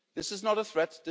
This is not a threat.